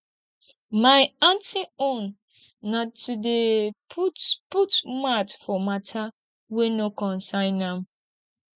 my aunty own na to dey put put mouth for mata wey no concern am